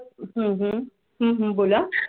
हम्म हम्म बोला.